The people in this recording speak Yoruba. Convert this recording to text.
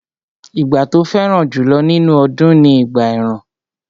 Ìgbà tó fẹ́ràn jùlọ nínú ọdún ni ìgbà ẹ̀rùn